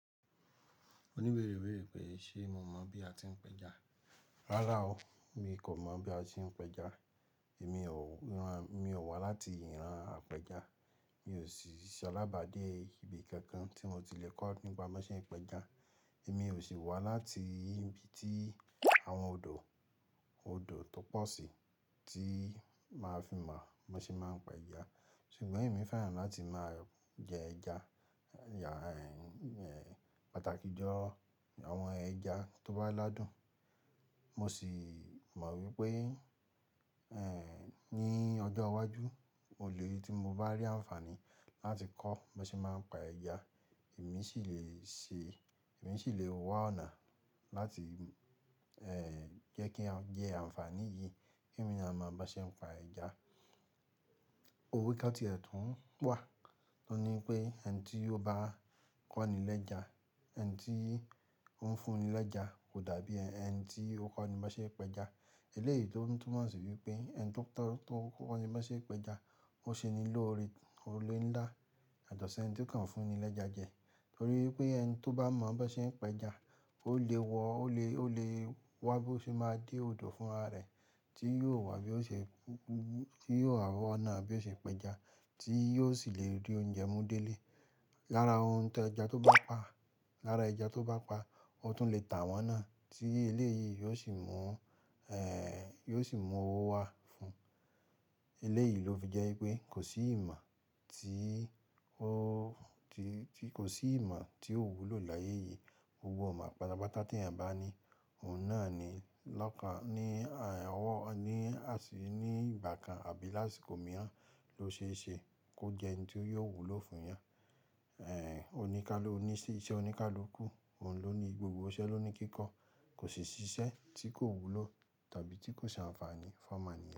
Òníbere beere pe ṣe mo mọ̀ bí a ti ń pẹja? Rárá o, mi kò mọ̀ bí a ti ń pẹja. Èmi ò wá láti ìran apẹja. Mi ò sì ṣe alábàá dé ibi kankan tí mo ti le kọ́ nípa bó ṣe ń pẹja. Èmi ò sì wá láti ibi tí àwọn odò tó pọ̀ sí tí màá fi mọ bó ṣe máa ń pa ẹja. Ṣùgbọ́n èmi fẹ́ràn láti máa jẹ ẹja, pàtàkì jọ àwọn ẹja tó bá ládùn. Mo si mo wípé ní ọjọ́ iwájú, mo lè tí mo bá rí ànfàní láti kọ́ bó ṣe máa ń pa ẹja, èmi sì lè ṣe, èmi sì lè wá ọ̀nà láti jẹ́ kí a jẹ ànfàní yìí ki émi náà mọ bó ṣe ń pa ẹja. Òwe kán tí ẹ̀ tún wà tó ní wípé ẹni tí ó bá kọ́ni lẹ́ja, ẹni tí ó ń fúnni lẹ́ja kò dàbí ẹni tí ó kọ́ni bó ṣe ń pẹja. Eleyi to tun túmọ̀ si wípé ẹni to koni bi won se peja o se ni lore ọ̀rẹ́ ńlá yàtọ̀ se ẹni ti o kan fún ni leja je. Nítorí wípé ẹni tó bá mọ̀ bó ṣe ń pẹja ó lè wọ́, ó lè wá bó ṣe máa dé odò fún rara rẹ̀ tí yóò wá bí ó ṣe, tí yóò rọ̀ ọ̀nà bí ó ṣe ń pẹja tí yóò sì lè rí oúnjẹ mú délé. Lára ohun tí ẹja tó bá pa, lára ẹja tó bá pa, ó tún lè tà wọ́n náà tí eléyìí yóò sì mú ẹ́, yóò sì mú owó wá fún. Eléyìí lò fi jẹ́ wípé kò sí ìmọ̀ tí ó, tí kò sí ìmọ̀ tí ò wúlò láyé yìí. Gbogbo ìmo pátápátá tí eeyan bá ní, òun náà ni lọ́kàn ní ọwọ́, ní àṣí, ní ìgbà kan àbí lásìkò mìíràn ló ṣe é ṣe kó jẹ́ ẹni tí yóò wúlò fún yàn. Oní ká ló ní í ṣí, iṣẹ́ oní ká ló kú, òun ló ní gbogbo iṣẹ́ ló ní kíkọ́. Kò sì ṣiṣẹ́ tí kò wúlò tàbí tí kò ṣe ànfàní fún ọ̀mo ènìyàn.